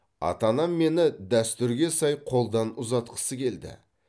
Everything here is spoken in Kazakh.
ата анам мені дәстүрге сай қолдан ұзатқысы келді